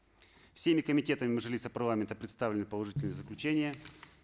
всеми комитетами мажилиса парламента представлены положительные заключения